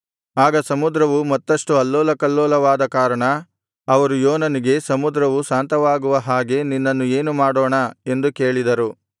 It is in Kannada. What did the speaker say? ಆಗ ಸಮುದ್ರವು ಮತ್ತಷ್ಟು ಅಲ್ಲೋಲಕಲ್ಲೋಲವಾದ ಕಾರಣ ಅವರು ಯೋನನಿಗೆ ಸಮುದ್ರವು ಶಾಂತವಾಗುವ ಹಾಗೆ ನಿನ್ನನ್ನು ಏನು ಮಾಡೋಣ ಎಂದು ಕೇಳಿದರು